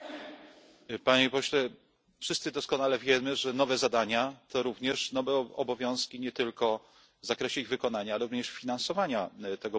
Panie Pośle, wszyscy doskonale wiemy, że nowe zadania to również nowe obowiązki nie tylko w zakresie ich wykonania, ale również finansowania tego projektu.